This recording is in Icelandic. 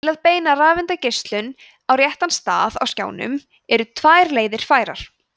til að beina rafeindageislanum á réttan stað á skjánum eru tvær leiðir færar